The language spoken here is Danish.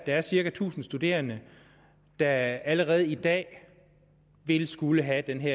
er cirka tusind studerende der allerede i dag vil skulle have den